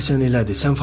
Deyəsən elədir,